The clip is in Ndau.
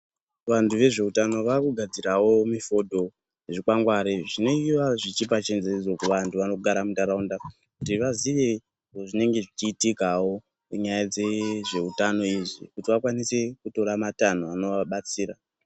Vantu vezveutano vakugadzirawo zvikwangware zvinenge zvichipa chanjedzo kuvantu vanogara muntaraunda kuti vaziye zvinenge zvichiitika munyaya yezveutano izvi kuti vagone kutora matanho anovabatsira .